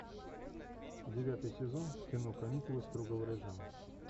девятый сезон кино каникулы строгого режима